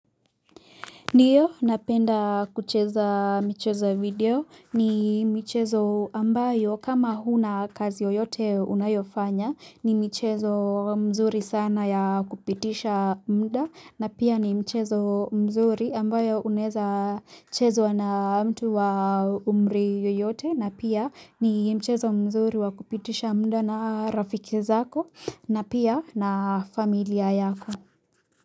Ndio napenda kucheza mchezo video ni mchezo ambayo kama huna kazi yoyote unayofanya ni mchezo mzuri sana ya kupitisha mda na pia ni mchezo mzuri ambayo uneza chezo na mtu wa umri yoyote na pia ni mchezo mzuri wa kupitisha mda na rafiki zako na pia na familia yako.